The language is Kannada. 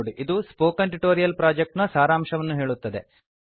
ಇದು ಸ್ಪೋಕನ್ ಟ್ಯುಟೋರಿಯಲ್ ಪ್ರೊಜೆಕ್ಟ್ ನ ಸಾರಾಂಶವನ್ನು ಹೇಳುತ್ತದೆ